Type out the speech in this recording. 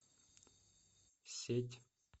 сеть